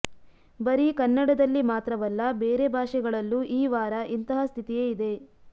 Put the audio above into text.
ಬರಿ ಕನ್ನಡದಲ್ಲಿ ಮಾತ್ರವಲ್ಲ ಬೇರೆ ಭಾಷೆಗಳಲ್ಲೂ ಈ ವಾರ ಇಂತಹ ಸ್ಥಿತಿಯೇ ಇದೆ